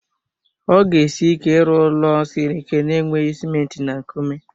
Ọ ga esi ike ịrụ ụlọ siri ike na-enweghị ciment na nkume